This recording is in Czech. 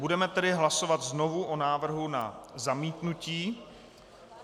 Budeme tedy hlasovat znovu o návrhu na zamítnutí.